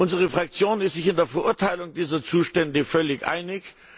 Unsere Fraktion ist sich in der Verurteilung dieser Zustände völlig einig.